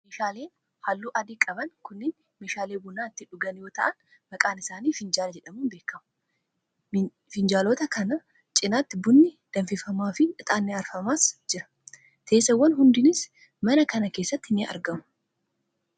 Meeshaaleen haalluu adii qaban kunneen, meeshaalee buna itti dhugan, yoo ta'u maqaan isaanii finjaala jedhamuun beekamu. Minjaalota kana cinaatti bunni danfifamaa fi ixaanni aarsamaa jira. Teessoowwan hedduunis mana kana keessatti ni argamu.